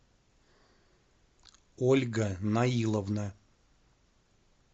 ольга наиловна